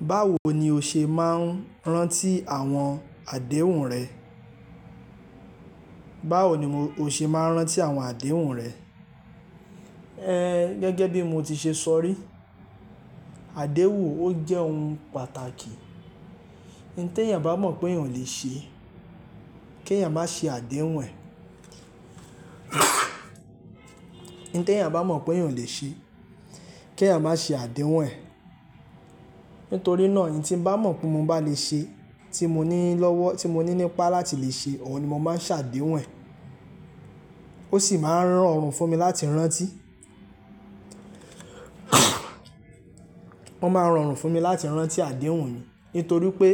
Báwo ni o ṣe máa ń rántí àwọn àdéhùn rẹ? Báwo ni mo, o ṣe máa ń rántí àwọn àdéhùn rẹ? Gẹ́gẹ́ bí mo ti ṣe sọ rí, àdéhùn o jẹ́ ohun pàtàkì. N tí ẹ̀yàn bá mọ̀ pé èèyàn lè ṣe, kí ẹ̀yàn má ṣe àdéhùn ẹ̀. N tí ẹ̀yàn bá mọ̀ pé èèyàn lè ṣe, kí ẹ̀yàn má ṣe àdéhùn ẹ̀. Nítorí náà, n tí n bá mọ̀ pé mo bá lè ṣe, tí mo ní í lọ́wọ́, tí mo ní í nípá láti lè ṣe, òun ni mo máa ń ṣàdéhùn ẹ̀. O sì máa ń ran ọrùn fún mi láti rántí. Ó máa ń rorùn fún mi láti rántí àdéhùn mi. Nítorí pé